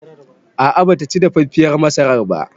A'a bataci dafaffiyar masarar ba